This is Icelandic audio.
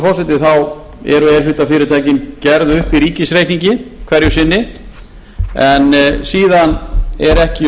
forseti eru e hluta fyrirtækin gerð upp í ríkisreikningi hverju sinni en síðan er ekki